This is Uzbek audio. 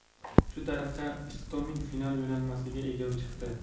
Shu tariqa Istomin final yo‘llanmasiga ega chiqdi.